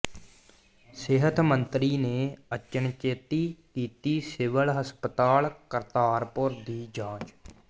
ਸਿਹਤ ਮੰਤਰੀ ਨੇ ਅਚਨਚੇਤੀ ਕੀਤੀ ਸਿਵਲ ਹਸਪਤਾਲ ਕਰਤਾਰਪੁਰ ਦੀ ਜਾਂਚ